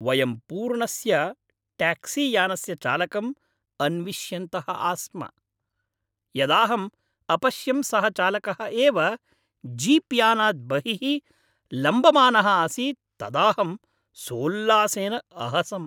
वयं पूर्णस्य ट्याक्सीयानस्य चालकम् अन्विष्यन्तः आस्म, यदाहम् अपश्यं सः चालकः एव जीप्यानात् बहिः लम्बमानः आसीत् तदाहं सोल्लासेन अहसम्।